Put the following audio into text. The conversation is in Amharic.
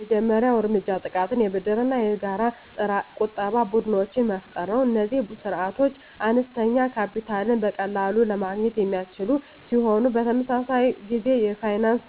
የመጀመሪያው እርምጃ ጥቃቅን የብድርና የጋራ ቁጠባ ቡድኖችን መፍጠር ነው። እነዚህ ስርዓቶች አነስተኛ ካፒታልን በቀላሉ ለማግኘት የሚያስችሉ ሲሆን፣ በተመሳሳይ ጊዜ የፋይናንስ